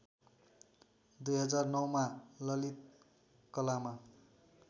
२००९ मा ललित कलामा